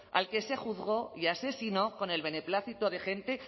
al que se juzgó y asesinó con el beneplácito de gente